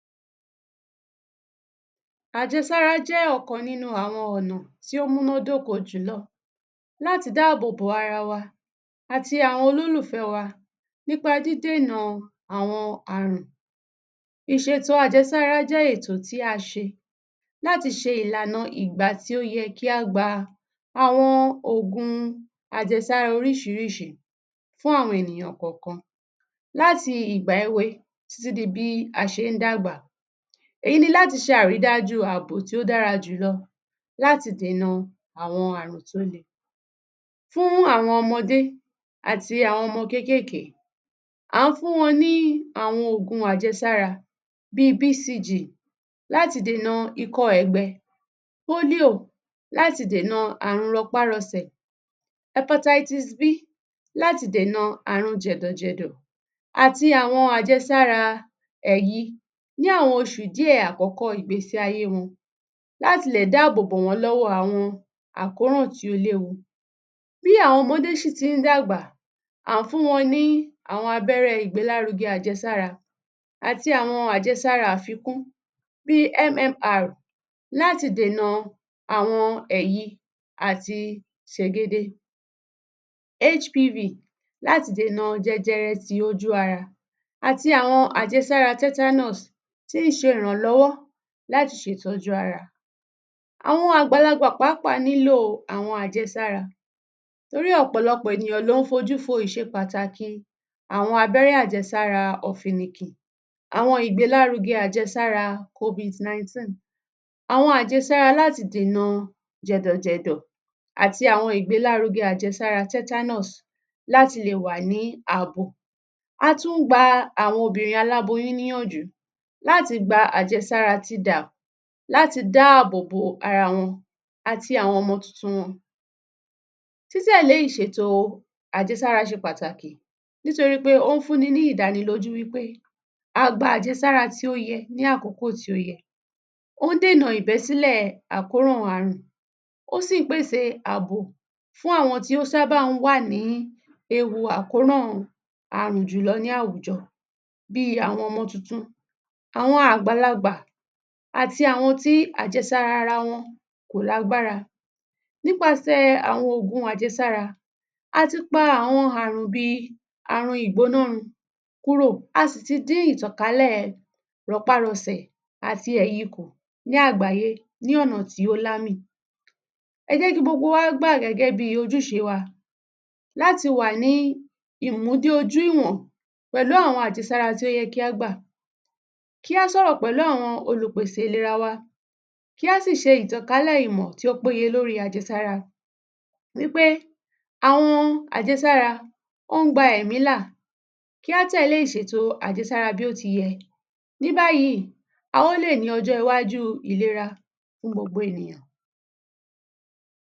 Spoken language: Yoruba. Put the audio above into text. Àjẹsára jẹ́ ọ̀kan nínú àwọn ọ̀nà tí ó múná dóko jùlọ láti dáàbòbò ara wá àti àwọn àwọn olólùfẹ́ wa. Nípa dídènà àwọn àrùn. Ìṣétò àjẹsára jẹ́ ètò tí a ṣe láti ṣe ìlànà ìgbà tí ó yẹ kí a gba àwọn oògùn àjẹsára oríṣiríṣi fún àwọn ènìyàn kọ̀ọ̀kan. Láti ìgbà èwe títí di bí a ṣe dàgbà. Èyí ni láti ṣe àrídájú àbò tí ó dára jù láti dènà àwọn àrùn tí ó le. Fún àwọn ọmọdé àti àwọn ọmọ kéékèèké. À ń fún wọn ni àwọn oògùn àjẹsára bí i: PCG láti dènà ikọ́ ẹ̀gbẹ, Polio láti dènà àrùn rọpárọsẹ̀, Appetites B láti dènà àrùn jẹ̀dọ̀jẹ̀dọ́ àti àwọn àjẹsàra ní àwọn oṣù àkọ́kọ́ ìgbésí ayé wọn láti lè dáàbòbò wọn lọ́wọ́ àwọn àkóràn tí ó léwu. Bí àwọn ọmọdé ṣì ti ń dàgbà à ń fún wọn ní àwọn abẹ́rẹ́ ìgbélárugẹ àjẹsára àti àwọn àjẹsára àfikún bí í: MMR láti dènà àwọn, àti sègede, HPV láti dènà jẹjẹrẹ ti ojú ara àti àwọn àjẹsára Titanus tí ṣe ìrànlọ́wọ́ láti ṣe ìtọ́jú ara. Awọn àgbàlagbà pàápàá nílò àwọn àjẹsára torí ọ̀pọ̀lọpọ̀ ènìyàn ló ń fójú fo ìṣe pàtàkì àwọn abẹ́rẹ́ àjẹsára ọ̀fìnnìkìn. Awọn ìgbélárugẹ àjẹsára Covid19, àwọn àjẹsára láti dènà jẹ̀dọ̀jẹ̀dọ̀ àti àwọn ìgbélárugẹ àjẹsára Titanus láti lè wá ni àbò. A tún gba àwọn obìnrin aláboyún níyànjú láti gba àjẹsára TDAM láti dáàbò ara wọn àti ọmọ tuntun wọn. Títẹ̀lé ìṣètò àjẹsára ṣe pàtàkì nìtorí pé ó ń fún ni ìdánilójú wí pé a gba àjẹsára tí ó yẹ ni àkókò tí ó yẹ. Ó ń dènà ìbẹ́sílẹ̀ àkóràn àrùn. Ó sì ń pèsè àbò fún àwọn tí ó ṣàábà ń wà ní ewu àkóràn àrùn jùlọ ní àwùjọ̀, bí i: àwọn ọmọ tuntun, àwọn àgbàlagbà àti àwọn tí àjẹsára ara wọn kò lágbára. Nípasẹ̀ àwọn oógùn àjẹsára. A ti pa àwọn àrùn bí i: àrùn ìgbónárun kúrò. A sì ti dín ìtànkálẹ̀ rọpárọsẹ̀ àti ẹ̀yi kù ní àgbáyé ní ọ̀nà tí ó lámì. Ẹ jẹ́ kí gbogbo wa gbà gẹ́gẹ ojuṣe wa láti wà ni ìmudé-ojú-ìwọ̀n pẹ̀lú àwọn àjẹsára tí ó yẹ kí á gbà. Kí á sọ̀rọ̀ pẹ̀lú àwọn olùpèsè ìlera wa, kí á sì ṣe ìtànkálẹ̀ ìmọ̀ tí ó peyé lórí àjẹsára, wí pé àwọn àjẹsára ó ń gba ẹ̀mí là, kí á tẹ̀lé ìsètò àjẹsára bí ó ti yẹ. Ní báyìí, a ó lè ní ọjọ́ iwájú ìlerà fún gbogbo ènìyàn.